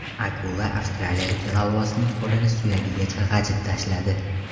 Akula avstraliyalik g‘avvosning qo‘lini suyagigacha g‘ajib tashladi.